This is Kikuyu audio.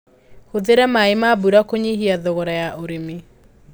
Hũthĩra maĩ ma mbura kũnyihia thogora ya ũrĩmĩ.